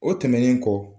O tɛmɛnen kɔ